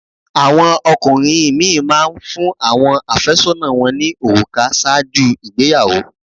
Àwọn ọkùnrin mí ì má a n fún áwọn àfẹ́sọ́nà wọn ní òrùkà sáàjú ìgbeyàwó